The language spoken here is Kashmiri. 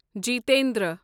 جیتندر